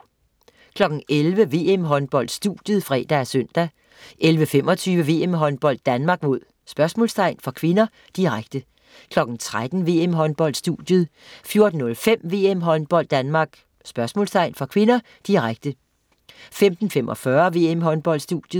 11.00 VM-Håndbold: Studiet (fre og søn) 11.25 VM-Håndbold: Danmark-? (k), direkte 13.00 VM-Håndbold: Studiet 14.05 VM-Håndbold: Danmark-? (k), direkte 15.45 VM-Håndbold: Studiet